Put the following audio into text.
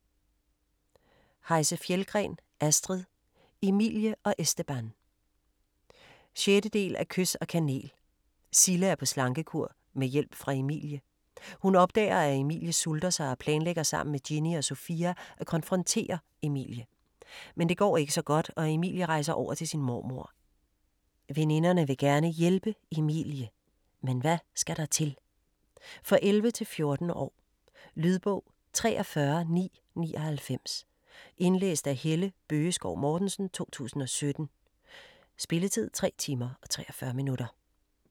Heise-Fjeldgren, Astrid: Emilie og Esteban 6. del af Kys og kanel. Sille er på slankekur med hjælp fra Emilie. Hun opdager at Emilie sulter sig og planlægger sammen med Ginny og Sophia at konfrontere Emilie. Men det går ikke så godt og Emilie rejser over til sin mormor. Veninderne vil gerne hjælpe Emilie. Men hvad skal der til? For 11-14 år. Lydbog 43999 Indlæst af Helle Bøgeskov Mortensen, 2017. Spilletid: 3 timer, 43 minutter.